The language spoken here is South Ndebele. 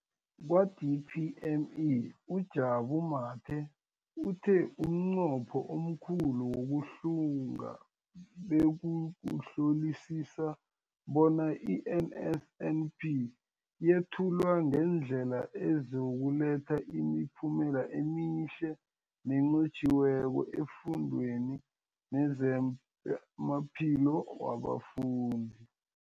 Kwa-DPME, uJabu Mathe, uthe umnqopho omkhulu wokuhlunga bekukuhlolisisa bona i-NSNP yethulwa ngendlela ezokuletha imiphumela emihle nenqotjhiweko efundweni nezamaphilo wabafundi.